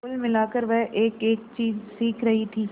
कुल मिलाकर वह एकएक चीज सीख रही थी